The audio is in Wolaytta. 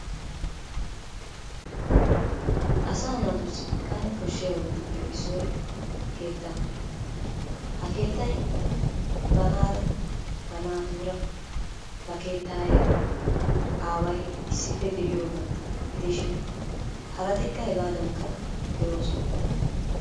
Asaa naatussi kane koshshiyabattuppe issoy keetta. Ha keettay banaara ba natuura ba keettaayeera aaway issippe de'iyooga gidishin harattikka hegaadankka de'oosona.